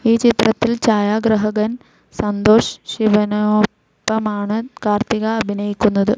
ഈ ചിത്രത്തിൽ ഛായാഗ്രാഹകൻ സന്തോഷ് ശിവനൊപ്പമാണ് കാർത്തിക അഭിനയിക്കുന്നത്.